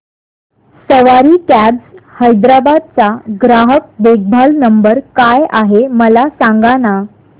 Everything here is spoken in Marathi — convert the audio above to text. सवारी कॅब्स हैदराबाद चा ग्राहक देखभाल नंबर काय आहे मला सांगाना